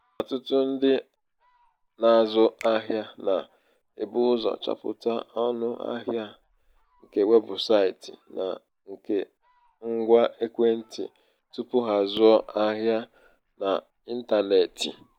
ọtụtụ um ndị um na-azụ ahịa na -ebu ụzọ chọpụta ọnụ ahịa nke weebụsaịtị na nke ngwa ekwentị tupu ha azụọ um ahịa n'intanetị.